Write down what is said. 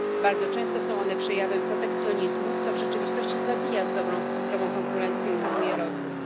Bardzo często są one przejawem protekcjonizmu, co w rzeczywistości zabija zdrową konkurencję i hamuje rozwój.